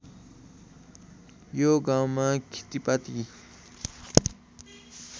यो गाउँमा खेतीपाती